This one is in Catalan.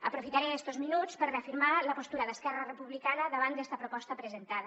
aprofitaré estos minuts per reafirmar la postura d’esquerra republicana davant d’esta proposta presentada